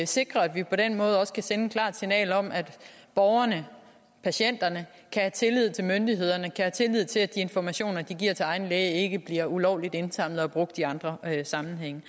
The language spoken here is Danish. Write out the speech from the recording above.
sikrer at vi på den måde også kan sende et klart signal om at borgerne og patienterne kan have tillid til myndighederne kan have tillid til at de informationer de giver til egen læge ikke bliver ulovligt indsamlet og brugt i andre sammenhænge